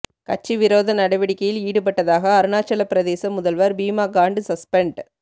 கட்சி விரோத நடவடிக்கையில் ஈடுபட்டதாக அருணாச்சலபிரதேச முதல்வர் பீமா காண்டு சஸ்பெண்ட்